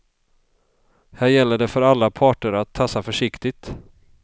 Här gäller det för alla parter att tassa försiktigt.